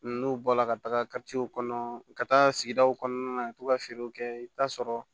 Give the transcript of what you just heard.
N'u bɔla ka taga kɔnɔ u ka taa sigidaw kɔnɔna na ka to ka feerew kɛ i bɛ taa sɔrɔ